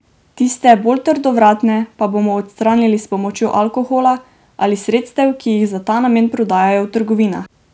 Tiste, bolj trdovratne, pa bomo odstranili s pomočjo alkohola ali sredstev, ki jih za ta namen prodajajo v trgovinah.